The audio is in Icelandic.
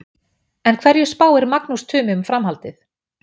En hverju spáir Magnús Tumi um framhaldið?